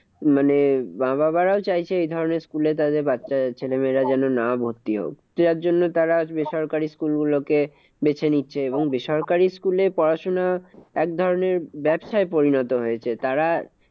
মানে মা বাবারাও চাইছে এই ধরণের school এ তাদের বাচ্চা ছেলেমেয়েরা যেন না ভর্তি হোক। তো তার জন্য তারা বেসরকারি school গুলোকে বেছে নিচ্ছে, এবং বেসরকারি school এ পড়াশোনা একধরণের ব্যাবসায় পরিণত হয়েছে। তারা